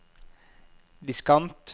diskant